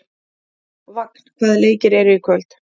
Vagn, hvaða leikir eru í kvöld?